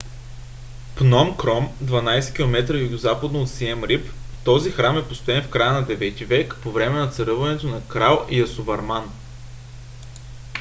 пном кром 12 км югозападно от сием рип. този храм е построен в края на 9 - ти век по време на царуването на крал ясоварман